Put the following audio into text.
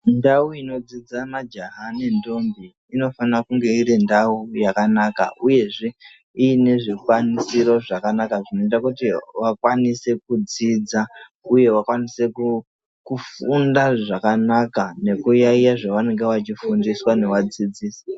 Ndau inodzidza majaya nendombi inofana kunge iri ndau yakanaka uyezve iine zvikwanisiro zvakanaka zvinoita kuti vakwanise kudzidza uye vakwanise kufunda zvakanaka nekuyaiya zvavanenge vachifundiswa ngevadzidxisi.